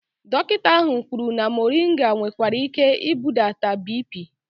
Dọkịta ahụ kwụrụ na muringa nwekwara ike ibudata biipii